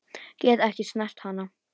Get ekki snert hana.